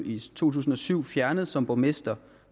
i to tusind og syv blev fjernet som borgmester